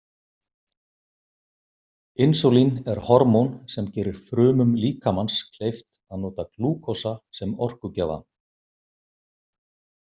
Insúlín er hormón sem gerir frumum líkamans kleift að nota glúkósa sem orkugjafa.